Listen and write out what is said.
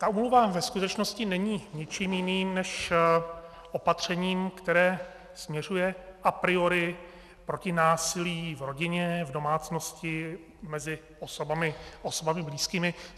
Ta úmluva ve skutečnosti není ničím jiným než opatřením, které směřuje a priori proti násilí v rodině, v domácnosti, mezi osobami blízkými.